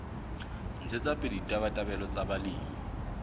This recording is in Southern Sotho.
ntshetsa pele ditabatabelo tsa balemi